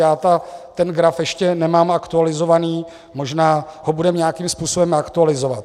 Já ten graf ještě nemám aktualizovaný, možná ho budeme nějakým způsobem aktualizovat.